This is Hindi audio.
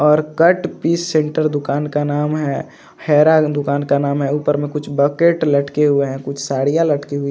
और कट पीस सेण्टर दुकान का नाम है हैरान दुकान का नाम है ऊपर में कुछ बकेट लटके हुवे है कुछ साड़िया लटकी हुव.